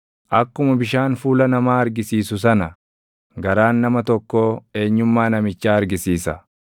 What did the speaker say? Akkuma bishaan fuula namaa argisiisu sana garaan nama tokkoo eenyummaa namichaa argisiisa.